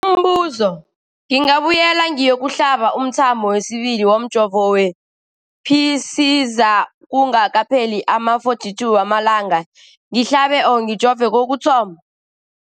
Umbuzo, ngingabuyela ngiyokuhlaba umthamo wesibili womjovo we-Pfizer kungakapheli ama-42 wamalanga ngihlabe, ngijove kokuthoma.